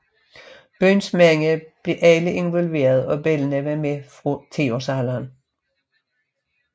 Byens mænd blev alle involveret og børnene var med fra tiårsalderen